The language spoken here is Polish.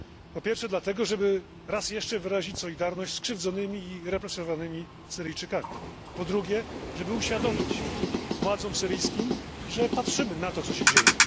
Po pierwsze dlatego, żeby raz jeszcze wyrazić solidarność ze skrzywdzonymi i represjonowanymi Syryjczykami. Po drugie, żeby uświadomić władzom syryjskim, że patrzymy na to, co się dzieje.